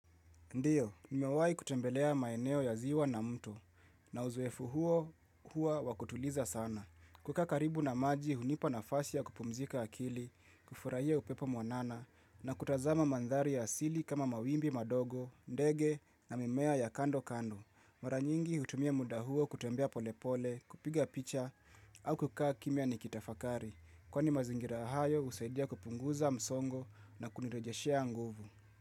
Ndiyo, nimewahi kutembelea maeneo ya ziwa na mtu, na uzoefu huo hua wakutuliza sana. Kukaa karibu na maji, hunipa nafasi ya kupumzika akili, kufurahia upepo mwanana, na kutazama mandhari ya asili kama mawimbi madogo, ndege na mimea ya kando kando. Mara nyingi hutumia muda huo kutembea pole pole, kupiga picha, au kukaa kimia nikitafakari. Kwani mazingira ahayo, husaidia kupunguza msongo na kunirejeshea nguvu.